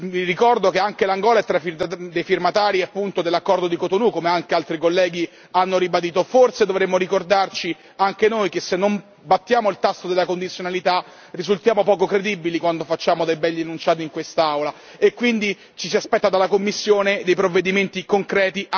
Vi ricordo che anche l'Angola è tra i firmatari appunto dell'accordo di Cotonou come anche altri colleghi hanno ribadito forse dovremmo ricordarci anche noi che se non battiamo il tasso della condizionalità risultiamo poco credibili quando facciamo dei begli enunciati in quest'Aula e quindi ci si aspetta dalla Commissione dei provvedimenti concreti anche nei confronti del governo dell'Angola.